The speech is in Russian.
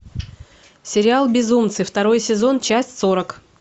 сериал безумцы второй сезон часть сорок